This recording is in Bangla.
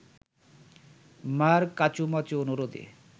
মার কাঁচুমাচু অনুরোধে